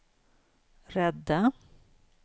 rädda